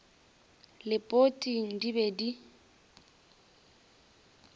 le poting di be di